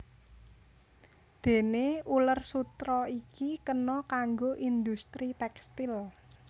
Déné uler sutera iki kena kanggo industri tékstil